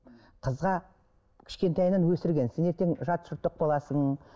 қызға кішкентайынан өсірген сен ертең жат жұрттық боласың